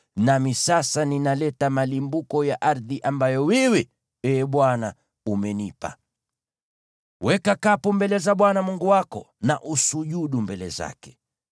nami sasa ninaleta malimbuko ya ardhi ambayo wewe, Ee Bwana , umenipa.” Weka kapu mbele za Bwana Mungu wako na usujudu mbele zake.